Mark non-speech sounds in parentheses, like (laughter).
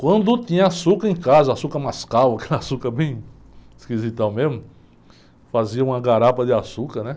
Quando tinha açúcar em casa, açúcar mascavo, (laughs) aquela açúcar bem esquisitão mesmo, fazia uma garapa de açúcar, né?